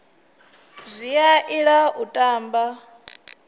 zwi a ila u tamba